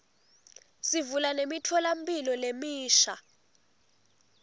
sivula nemitfolamphilo lemisha